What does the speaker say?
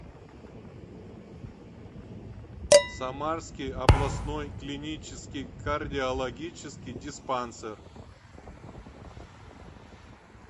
самарский областной клинический кардиологический диспансер